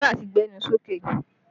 Náírà ti gbẹnu sókè